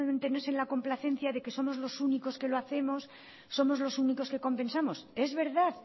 no es en la complacencia de que somos los únicos que lo hacemos somos los únicos que compensamos es verdad